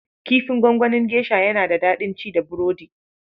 Kifin gwanganin geisha yana da daɗin ci da burodi.